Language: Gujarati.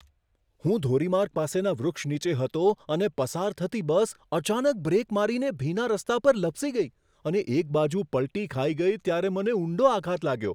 હું ધોરીમાર્ગ પાસેના વૃક્ષ નીચે હતો અને પસાર થતી બસ અચાનક બ્રેક મારીને ભીના રસ્તા પર લપસી ગઈ અને એક બાજુ પલટી ખાઈ ગઈ ત્યારે મને ઊંડો આઘાત લાગ્યો.